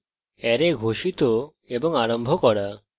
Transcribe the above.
array ঘোষিত এবং আরম্ভ করা